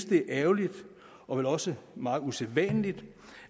det er ærgerligt og vel også meget usædvanligt